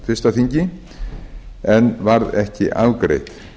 fyrsta þingi en varð ekki afgreitt